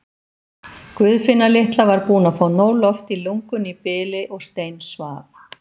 Guðfinna litla var búin að fá nóg loft í lungun í bili og stein- svaf.